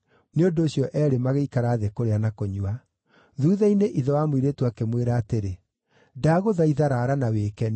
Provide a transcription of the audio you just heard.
Nĩ ũndũ ũcio eerĩ magĩikara thĩ kũrĩa na kũnyua. Thuutha-inĩ ithe wa mũirĩtu akĩmwĩra atĩrĩ, “Ndagũthaitha raara na wĩkenie.”